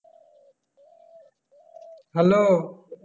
Hello